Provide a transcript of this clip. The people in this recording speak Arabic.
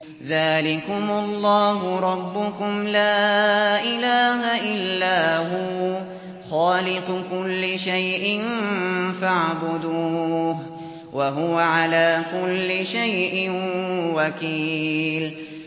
ذَٰلِكُمُ اللَّهُ رَبُّكُمْ ۖ لَا إِلَٰهَ إِلَّا هُوَ ۖ خَالِقُ كُلِّ شَيْءٍ فَاعْبُدُوهُ ۚ وَهُوَ عَلَىٰ كُلِّ شَيْءٍ وَكِيلٌ